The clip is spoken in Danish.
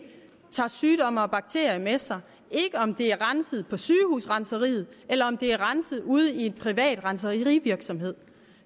tager sygdomme og bakterier med sig ikke om det er renset på sygehusrenseriet eller om det er renset ude i en privat renserivirksomhed